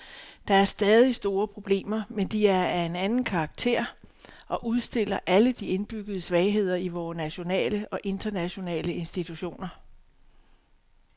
Der er stadig store problemer, men de er af en anden karakter og udstiller alle de indbyggede svagheder i vore nationale og internationale institutioner.